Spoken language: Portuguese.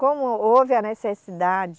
Como houve a necessidade